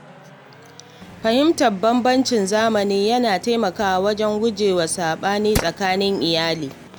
Fahimtar bambancin zamani yana taimakawa wajen guje wa sabani tsakanin iyali.